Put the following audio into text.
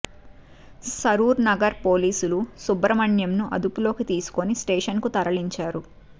సరూర్ నగర్ పోలీసులు సుబ్రహ్మణ్యంను అదుపులోకి తీసుకుని స్టేషన్ కు తరలించారు